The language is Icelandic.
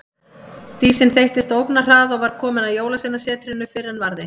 Dísin þeyttist á ógnarhraða og var komin að Jólasveinasetrinu fyrr en varði.